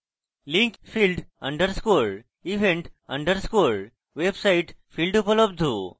link: field _ event _ website field উপলব্ধ